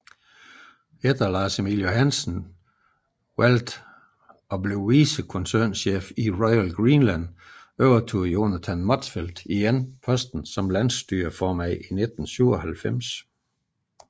Efter Lars Emil Johansen valgte at blive vicekoncernchef i Royal Greenland overtog Jonathan Motzfeldt atter posten som landsstyreformand i 1997